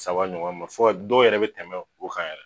Saba ɲɔgɔn ma fɔ ka dɔw yɛrɛ bɛ tɛmɛ o kan yɛrɛ.